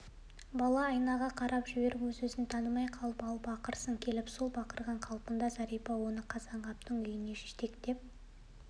бала айнаға қарап жіберіп өзін-өзі танымай қалып ал бақырсын келіп сол бақырған қалпында зәрипа оны қазанғаптың үйінен жетектеп